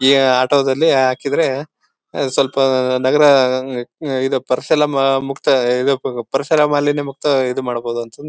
ಈ ಆಟೋದಲ್ಲಿ ಹಾಕಿದ್ರೆ ಸ್ವಲ್ಪ ನಗರ ಉಮ್ಮ್ ಇದು ಪರ್ಸಲ್ಲ ಮುಕ್ತ ಇದು ಪರಿಸರ ಮಾಲಿನ್ಯ ಮುಕ್ತ ಇದು ಮಾಡ್ಬಹುದು ಅಂತಾನೂ --